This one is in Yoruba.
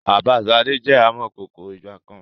Bàbá sade jẹ amọ̀kọkò ń ìgbàkan